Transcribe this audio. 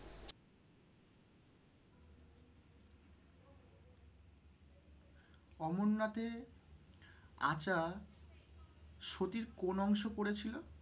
অমরনাথে আচা সতীর কোন অংশ পড়েছিল?